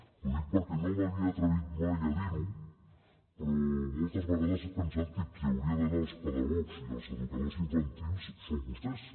ho dic perquè no m’havia atrevit mai a dir ho però moltes vegades he pensat que qui hauria d’anar als pedagogs i als educadors infantils són vostès